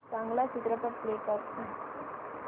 चांगला चित्रपट प्ले कर